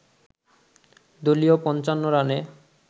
দলীয় ৫৫ রানে